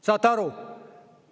Saate aru?